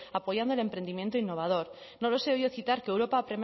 más primero apoyando el emprendimiento innovador no les he oído citar que europa ha